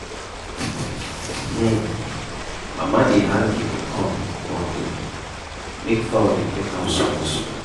um mama dey hang guinea corn bundle make fowl dey peck am small-small.